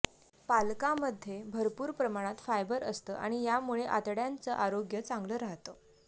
पालकांमध्ये भरपूर प्रमाणात फायबर असतं आणि यामुळे आतड्यांचं आरोग्य चांगलं राहतं